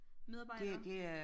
Medarbejdere